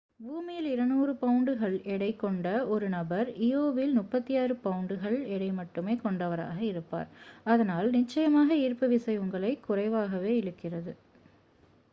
பூமியில் 200 பவுண்டுகள் 90கிகி எடை கொண்ட ஒரு நபர் இயோவில் 36 பவுண்டுகள் 16கிகி எடை மட்டுமே கொண்டவராக இருப்பார். அதனால் நிச்சயமாக ஈர்ப்புவிசை உங்களை குறைவாகவே இழுக்கிறது